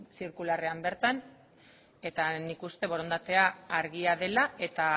zirkularrean bertan eta nik uste borondatea argia dela eta